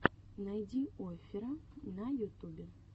найди оффера на ютубе